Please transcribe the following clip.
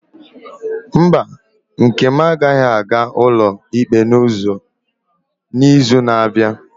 Mba, nkem agaghị aga ụlọ ikpe n'izu na-abịa.